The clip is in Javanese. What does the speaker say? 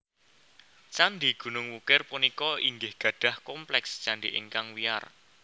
Candhi Gunung Wukir punika inggih gadhah kompleks candhi ingkang wiyar